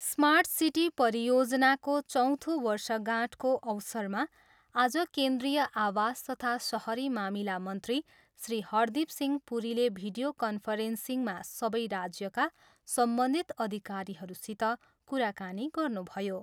Smart city परियोजनाको चौथो वर्षगाँठको अवसरमा आज केन्द्रीय आवास तथा सहरी मामिला मन्त्री श्री हरदीप सिंह पुरीले भिडीयो कन्फरेन्सिङमा सबै राज्यका सम्बन्धित अधिकारीहरूसित कुराकानी गर्नुभयो।